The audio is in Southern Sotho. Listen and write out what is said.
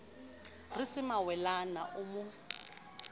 re se mawelana o mo